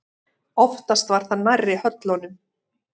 Oftast var það nærri höllunum.